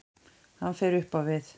Hann fer upp á við.